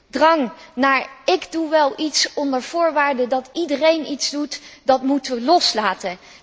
De drang naar ik doe wel iets, onder voorwaarde dat iedereen iets doet moeten wij loslaten.